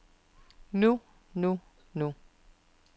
nu nu nu